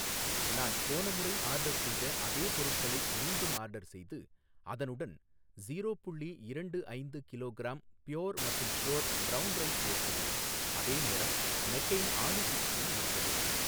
நான் போன முறை ஆர்டர் செய்த அதே பொருட்களை மீண்டும் ஆர்டர் செய்து அதனுடன் ஸீரோ புள்ளி இரண்டு ஐந்து கிலோகிராம் ப்யோர் மற்றும் ஷ்யோர் ப்ரௌன் ரைஸ் சேர்க்கவும் அதே நேரம் மெக்கெயின் ஆலு டிக்கியை நீக்கவும்